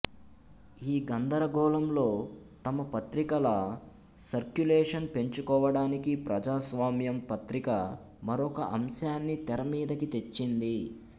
ఈ గందరగోళంలో తమ పత్రికల సర్క్యులేషన్ పెంచుకోవడానికి ప్రజాస్వామ్యం పత్రిక మరొక అంశాన్ని తెరమీదికి తెచ్చింది